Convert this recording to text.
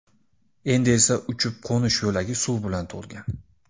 Endi esa uchib-qo‘nish yo‘lagi suv bilan to‘lgan.